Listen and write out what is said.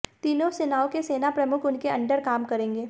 तीनों सेनाओं के सेना प्रमुख उनके अंडर काम करेंगे